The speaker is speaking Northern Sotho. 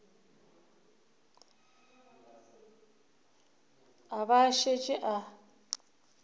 a ba a šetše a